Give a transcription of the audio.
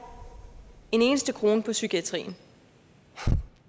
en eneste krone på psykiatrien